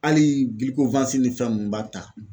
Hali bi ko ni fɛn mun b'a ta